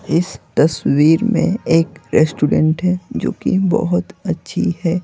इस तस्वीर में एक रेस्टोरेंट है जो कि बहुत अच्छी है।